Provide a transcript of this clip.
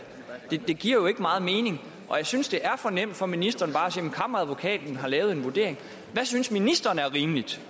det giver jo ikke meget mening og jeg synes det er for nemt for ministeren bare at kammeradvokaten har lavet en vurdering hvad synes ministeren er rimeligt